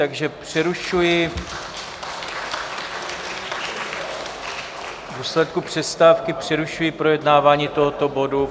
Takže přerušuji, v důsledku přestávky přerušuji projednávání tohoto bodu.